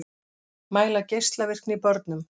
Mæla geislavirkni í börnum